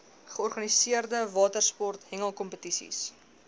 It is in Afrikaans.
georganiseerde watersport hengelkompetisies